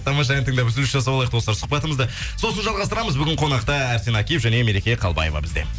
тамаша ән тыңдап үзіліс жасап алайық достар сұхбатымызды сосын жалғастырамыз бүгін қонақта арсен акиев және мереке қалыбаева бізде